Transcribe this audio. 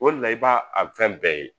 O le la i b'a a fɛn bɛɛ ye.